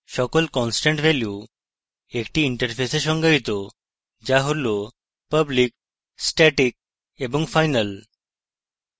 সকল constant value একটি interface সংজ্ঞায়িত যা all public static এবং final